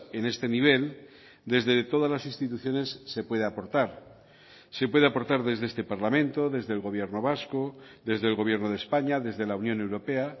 en este nivel desde todas las instituciones se puede aportar se puede aportar desde este parlamento desde el gobierno vasco desde el gobierno de españa desde la unión europea